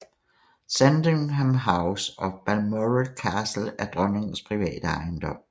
Sandringham House og Balmoral Castle er dronnings private ejendom